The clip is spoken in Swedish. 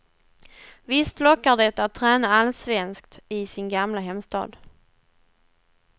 Visst lockar det att träna allsvenskt i sin gamla hemstad.